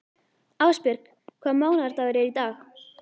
Ásbjörg, hvaða mánaðardagur er í dag?